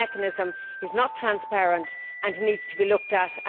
That mechanism is not transparent and needs to be looked at.